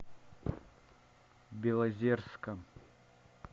белозерска